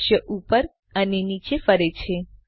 દ્રશ્ય ઉપર અને નીચે ફરે છે